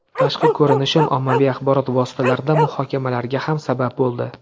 Tashqi ko‘rinishim ommaviy axborot vositalarida muhokamalarga ham sabab bo‘ldi.